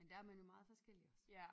Men der er man jo meget forskellig også